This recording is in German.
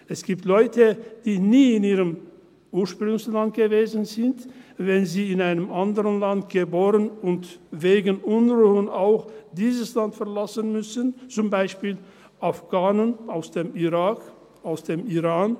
Es gibt Leute, die nie in ihrem Ursprungsland waren, wenn sie in einem anderen Land geboren wurden und wegen Unruhen auch dieses Land verlassen mussten, zum Beispiel Afghanen aus dem Irak, aus dem Iran.